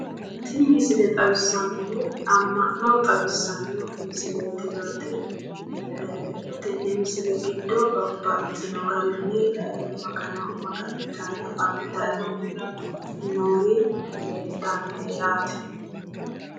Tini misile xawissahu amma'no xawissanno misileeti yaate, tenne misile giddo babbaxxino garinni magano maga'nitanni afantannori leeltannoe yaate.